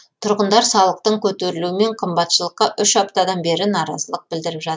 тұрғындар салықтың көтерілуі мен қымбатшылыққа үш аптадан бері наразылық білдіріп жат